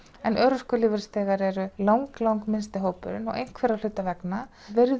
en örorkulífeyrisþegar eru lang lang minnsti hópurinn en einhverra hluta vegna